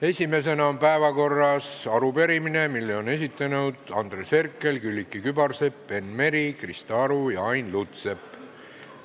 Esimesena on päevakorras arupärimine, mille on esitanud Andres Herkel, Külliki Kübarsepp, Enn Meri, Krista Aru ja Ain Lutsepp.